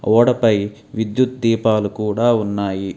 ఓడపై విద్యుత్ దీపాలు కూడా ఉన్నాయి.